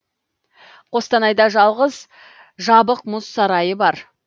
қостанайда жалғыз жабық мұз сарайы бар